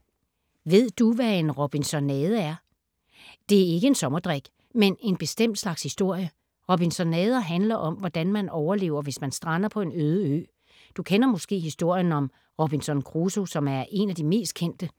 Ved du, hvad en robinsonade er? Det er ikke en sommerdrik, men en bestemt slags historie. Robinsonader handler om, hvordan man overlever, hvis man strander på en øde ø. Du kender måske historien om Robinson Crusoe, som er en af de mest kendte.